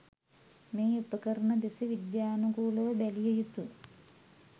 මේ උපකරණ දෙස විද්‍යනුකූලව බැලිය යුතු